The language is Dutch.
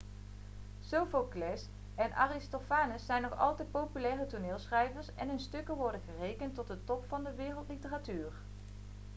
sophocles en aristophanes zijn nog altijd populaire toneelschrijvers en hun stukken worden gerekend tot de top van de wereldliteratuur